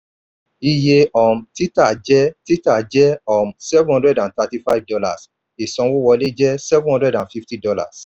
iye um títà jẹ́ títà jẹ́ um seven hundred and thirty-five dollars ìsanwówọlé jẹ́ seven hundred and fifty dollars